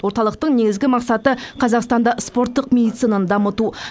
орталықтың негізгі мақсаты қазақстанда спорттық медицинаны дамыту